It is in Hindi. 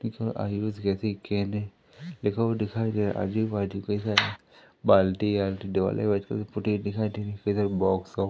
इसमें लिखा हुआ दिखाई दे रहा है आजू बाजू के साइड